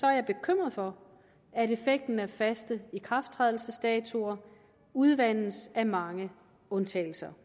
jeg bekymret for at effekten af faste ikrafttrædelsesdatoer udvandes af mange undtagelser